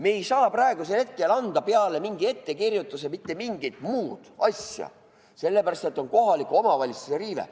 Me ei saa praegusel hetkel teha peale mingi ettekirjutuse mitte mingit muud asja, sellepärast et on kohalike omavalitsuste riive.